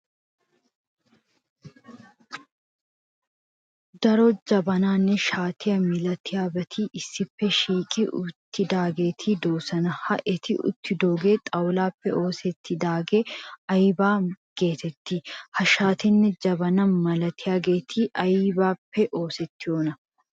Daro jabananne shaate milatiyabati issippe shiiqi uttidaageeti de'oosona ha eti uttidogee xawulaappe oosettidaagee aybaa geetettii? Ha shaatenne jabana milatiyageeti aybippe oosettidonaa?